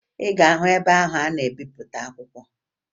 Ị ga-ahụ ebe ahụ a na-ebipụta akwụkwọ